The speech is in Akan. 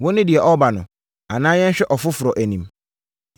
“Wo ne deɛ ɔreba no, anaa yɛnhwɛ ɔfoforɔ anim?”